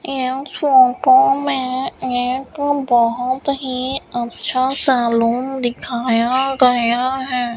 यह फोटो में एक बहुत ही अच्छा सा लॉन दिखाया गया है।